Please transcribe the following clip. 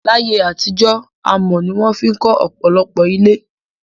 Láyé àtijó, amò ni won fi kó òpòlopò ilé